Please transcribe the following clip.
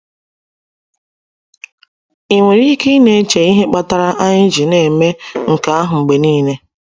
Ị nwere ike ị na-eche ihe kpatara anyị ji na-eme nke ahụ mgbe niile.